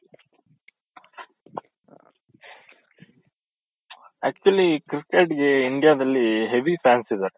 actually cricket ಗೆ India ದಲ್ಲಿ heavy fans ಇದಾರೆ .